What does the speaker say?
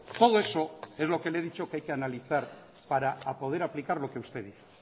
todo eso es lo que le he dicho que hay que analizar para poder aplicar lo que usted dice